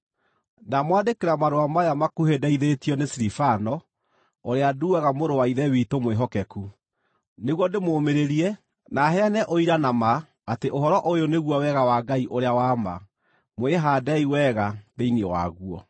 Ndamwandĩkĩra marũa maya makuhĩ ndeithĩtio nĩ Silivano, ũrĩa nduaga mũrũ wa Ithe witũ mwĩhokeku, nĩguo ndĩmũmĩrĩrie, na heane ũira na ma atĩ ũhoro ũyũ nĩguo wega wa Ngai ũrĩa wa ma. Mwĩhaandei wega thĩinĩ waguo.